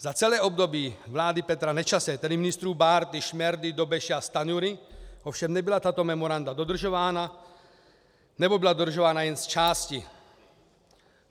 Za celé období vlády Petra Nečase, tedy ministrů Bárty, Šmerdy, Dobeše a Stanjury, ovšem nebyla tato memoranda dodržována, nebo byla dodržována jen zčásti.